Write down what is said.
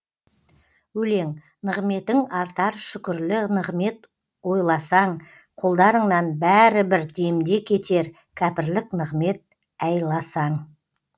өлең нығметің артар шүкірлі нығмет ойласаң қолдарыңнан бәрі бір демде кетер кәпірлік нығмет ойласаң